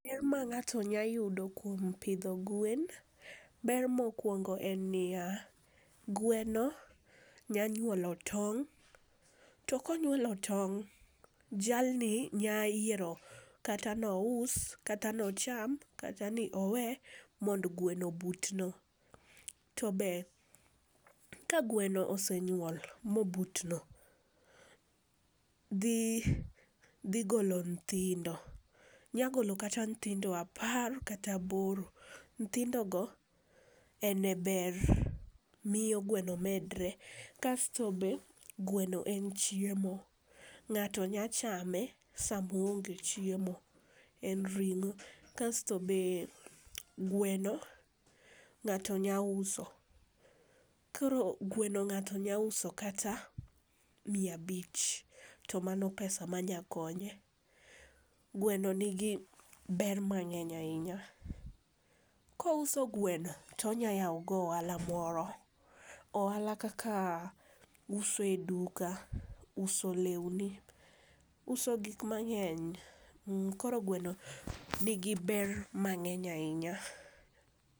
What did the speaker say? Ber ma ng'ato nyalo yudo kuom pidho gwen, ber mokuongo en niya, gweno nyalo nyuolo tong' to ka onyuolo tong', jal ni nyalo yiero kata ni ous, kata ni ocham, kata ni owe mondo gweno obutno. To be ka gweno osenyuol mobutno dhi dhi golo nyithindo. Nyalo golo kata nyithindo apar kata aboro. Nyithindogo en e ber, miyo gweno medre kasto be gweno en chiemo ng'ato nyalo chame sama oonge chiemo. En ring'o. Kasto be, gweno ng'ato nyalo uso koro gweno ng'ato nyalo uso kata miya abich to mano pesa manyalo konye. Gweno nigi ber mang'eny ahinya. Ka ouso gweno, to onyalo yawo go ohala moro. Ohala kaka uso e duka, uso lewni, uso gik mang'eny koro gweno nigi ber mang'eny ahinya.